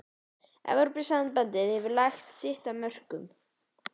Evrópusambandið hefur lagt sitt af mörkum.